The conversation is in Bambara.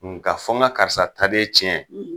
Nka fɔ ŋa karisa taden tiɲɛ